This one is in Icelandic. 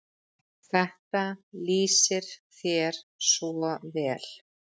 Þetta lýsir þér svo vel.